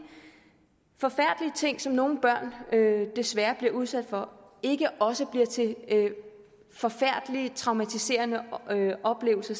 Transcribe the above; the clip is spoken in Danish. forfærdelige ting som nogle børn desværre bliver udsat for ikke også bliver til forfærdelige traumatiserende oplevelser